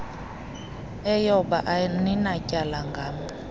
eyoba aninatyala ngam